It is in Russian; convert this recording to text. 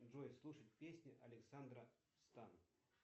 джой слушать песни александра стан